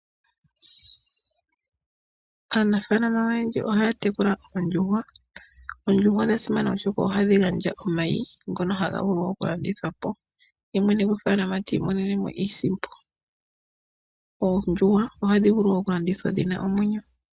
Aanafalama oyendji ohaya tekula oondjuhwa. Oondjuhwa odha simana oshoka ohadhi gandja omayi ngono haga vulu oku landithwa po, ye mwene gofaalama ti imonenemo iisimpo. Oondjuhwa ohadhi vulu oku landithwa dhina omwenyo.